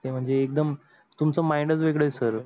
ते म्हणजे एकदम तुमच mind च वेगड आहे.